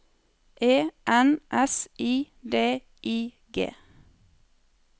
E N S I D I G